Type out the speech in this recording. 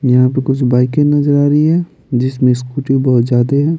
यहाँ पे कुछ बाइकें नजर आ रही है जिसमें स्कूटी बहुत ज्यादा है।